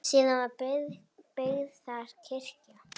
Síðar var byggð þar kirkja.